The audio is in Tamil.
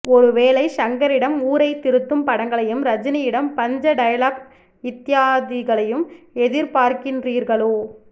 ஒரு வேலை ஷங்கரிடம் ஊரைத் திருத்தும் படங்களையும் ரஜினியிடம் பஞ்ச டைலாக் இத்யாதிகளையும் எதிர்பார்க்கின்றீர்களோ